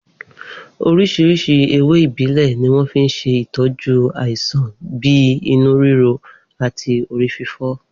Oríṣiríṣi ewé ìbílẹ̀ ni wọ́n fi ń ṣe ìtọ́jú àìsàn bíi inú ríro àti orí fífọ́